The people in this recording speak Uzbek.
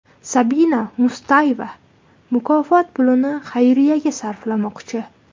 Sabina Mustayeva mukofot pulini xayriyaga sarflamoqchi.